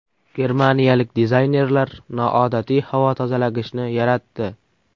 Germaniyalik dizaynerlar noodatiy havo tozalagichni yaratdi.